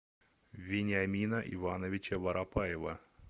вениамина ивановича воропаева